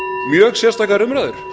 mjög sérstakar umræður